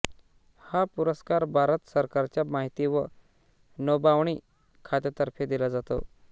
हा पुरस्कार भारत सरकारच्या माहिती व नभोवाणी खात्यातर्फे दिला जातो